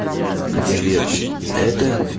привет это